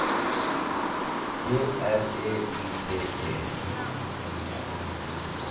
G R E I D E